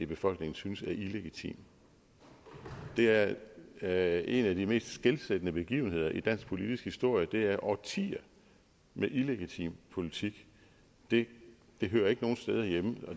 befolkning synes er illegitim det er er en af de mest skelsættende begivenheder i dansk politisk historie det er årtier med illegitim politik det hører ikke nogen steder hjemme